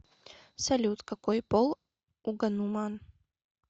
салют какой пол у гануман